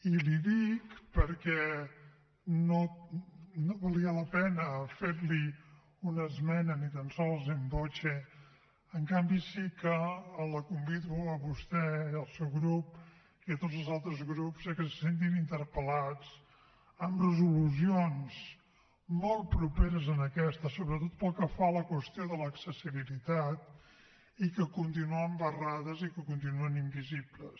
i l’hi dic perquè no valia la pena fer li una esmena ni tan sols in voce en canvi sí que la convido a vostè i al seu grup i a tots els altres grups a que se sentin interpel·lats amb resolucions molt properes en aquesta sobretot pel que fa a la qüestió de l’accessibilitat i que continuen barrades i que continuen invisibles